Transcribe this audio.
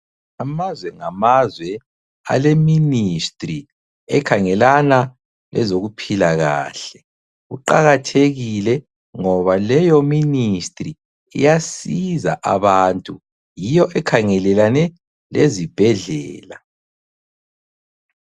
Amazwe ngamazwe ale Ministry ekhangelana lezokuphila kahle, kuqakathekile ngoba leyo Ministry iyasiza abantu yiyo ekhangelelane lezibhedlela.